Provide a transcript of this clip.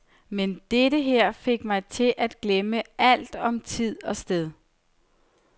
Men dette her fik mig til at glemme alt om tid og sted.